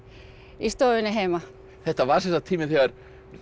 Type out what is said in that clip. í stofunni heima þetta var sem sagt tíminn þegar